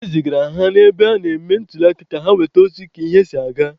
E zigara ha n'ebe a na-eme ntuliaka ka ha nweta ozi ka ihe si aga.